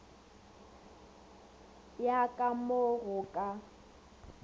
ya ka mo go ka